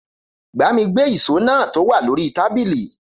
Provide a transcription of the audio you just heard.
Gbàmí gbe ìsó nà tọ wa lòrí tàbilii.